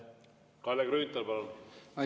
Kalle Grünthal, palun!